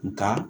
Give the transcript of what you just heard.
Nka